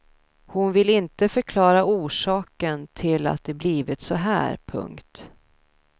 Hon vill inte förklara orsaken till att det blivit så här. punkt